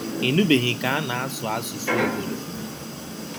Ị nụbeghị ka a na-asụ asụsụ obodo.